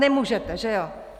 Nemůžete, že jo?